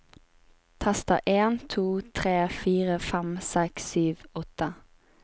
Tester en to tre fire fem seks sju åtte